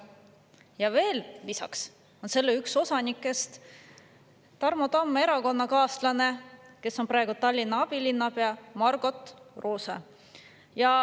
Ja lisaks on selle üks osanikest Tarmo Tamme erakonnakaaslane, kes on praegu Tallinna abilinnapea, Margot Roose.